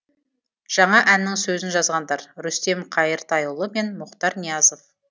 жаңа әннің сөзін жазғандар рүстем қайыртайұлы мен мұхтар ниязов